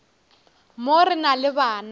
mo re na le bana